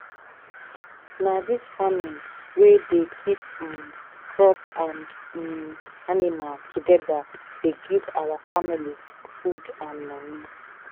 na dis farming wey dey keep um crop and um animal together dey give our family food and money.